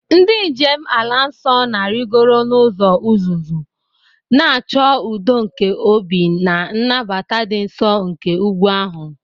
Ndị njem ala nsọ na-arịgoro n'ụzọ uzuzu, na-achọ udo nke obi na nnabata dị nsọ nke ugwu ahụ.